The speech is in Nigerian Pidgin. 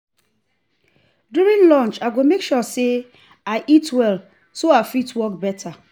during lunch i go make sure say i eat well so i fit work better.